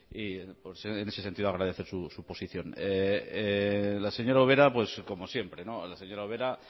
y en ese sentido agradecer su posición la señora ubera pues como siempre no la señora ubera